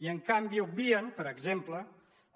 i en canvi obvien per exemple